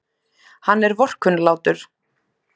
Hann er vorkunnlátur.